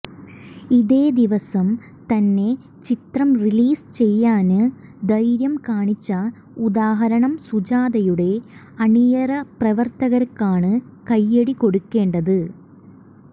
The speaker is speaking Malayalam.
ഇതേ ദിവസം തന്നെ ചിത്രം റിലീസ് ചെയ്യാന് ധൈര്യം കാണിച്ച ഉദാഹരണം സുജാതയുടെ അണിയറപ്രവര്ത്തകര്ക്കാണ് കൈയ്യടി കൊടുക്കേണ്ടത്